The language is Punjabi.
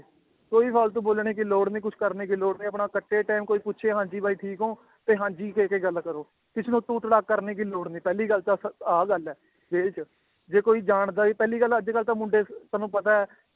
ਕੋਈ ਵੀ ਫਾਲਤੂ ਬੋਲਣੇ ਕੀ ਲੋੜ ਨੀ ਕੁਛ ਕਰਨੇ ਕੀ ਲੋੜ ਨੀ, ਆਪਣਾ ਕੱਟੇ time ਕੋਈ ਪੁੱਛੇ ਹਾਂਜੀ ਬਾਈ ਠੀਕ ਹੋਂ ਤੇ ਹਾਂਜੀ ਕਹਿ ਕੇ ਗੱਲ ਕਰੋ, ਕਿਸੇ ਨੂੰ ਤੂੰ ਤੜਾਕ ਕਰਨੇ ਕੀ ਲੋੜ ਨੀ ਪਹਿਲੀ ਗੱਲ ਆਹ ਗੱਲ ਹੈ ਜੇਲ੍ਹ 'ਚ ਜੇ ਕੋਈ ਜਾਣਦਾ ਵੀ ਪਹਿਲੀ ਗੱਲ ਅੱਜ ਕੱਲ੍ਹ ਤਾਂ ਮੁੰਡੇ ਤੁਹਾਨੂੰ ਪਤਾ ਹੈ